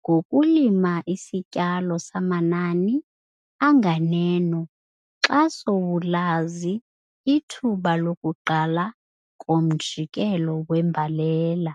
ngokulima isityalo samanani anganeno xa sowulazi ithuba lokuqala komjikelo wembalela.